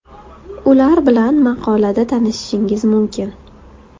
Ular bilan maqolada tanishishingiz mumkin.